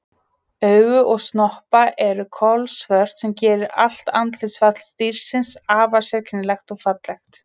Augu og snoppa eru kolsvört sem gerir allt andlitsfall dýrsins afar sérkennilegt og fallegt.